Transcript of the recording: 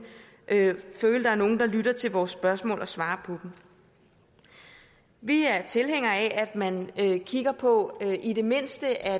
føle at der er nogen der lytter til vores spørgsmål og svarer dem vi er tilhængere af at man kigger på i det mindste at